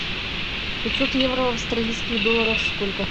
пятьсот евро в австралийских долларах сколько